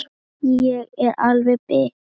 Ég er alveg bit!